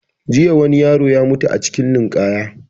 Jiya wani yaro ya mutu a cikin ninkaya